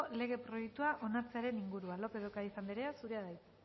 lege proiektua onartzearen inguruan lópez de ocariz anderea zurea da hitza